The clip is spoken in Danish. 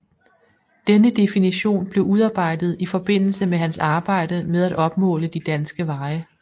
Denne definition blev udarbejdet i forbindelse med hans arbejde med at opmåle de danske veje